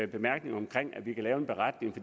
bemærkninger omkring at vi kan lave en beretning